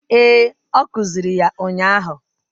Ee, ọ kuziri ya ụnyahụ